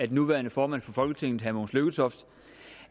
den nuværende formand for folketinget herre mogens lykketoft